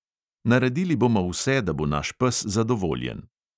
Naredili bomo vse, da bo naš pes zadovoljen.